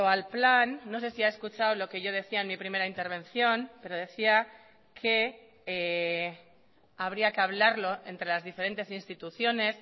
al plan no sé si ha escuchado lo que yo decía en mi primera intervención pero decía que habría que hablarlo entre las diferentes instituciones